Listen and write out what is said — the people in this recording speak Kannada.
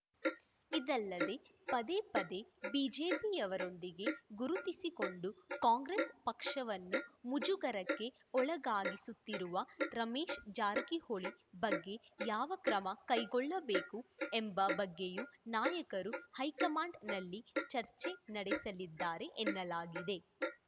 ಇದಲ್ಲದೆ ಪದೇ ಪದೇ ಬಿಜೆಪಿಯವರೊಂದಿಗೆ ಗುರುತಿಸಿಕೊಂಡು ಕಾಂಗ್ರೆಸ್‌ ಪಕ್ಷವನ್ನು ಮುಜುಗರಕ್ಕೆ ಒಳಗಾಗಿಸುತ್ತಿರುವ ರಮೇಶ್‌ ಜಾರಕಿಹೊಳಿ ಬಗ್ಗೆ ಯಾವ ಕ್ರಮ ಕೈಗೊಳ್ಳಬೇಕು ಎಂಬ ಬಗ್ಗೆಯೂ ನಾಯಕರು ಹೈಕಮಾಂಡ್‌ನಲ್ಲಿ ಚರ್ಚೆ ನಡೆಸಲಿದ್ದಾರೆ ಎನ್ನಲಾಗಿದೆ